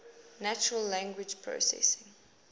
natural language processing